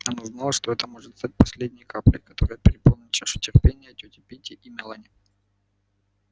она знала что это может стать последней каплей которая переполнит чашу терпения тёти питти и мелани